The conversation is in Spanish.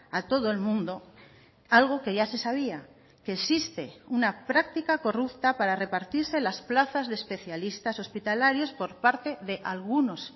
a todo el mundo algo que ya se sabía que existe una práctica corrupta para repartirse las plazas de especialistas hospitalarios por parte de algunos